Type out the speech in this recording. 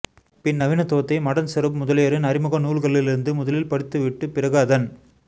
பின் நவீனத்துவத்தை மடன் சருப் முதலியோரின் அறிமுக நூல்களிலிருந்து முதலில் படித்துவிட்டு பிறகு அதன்